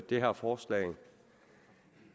det her forslag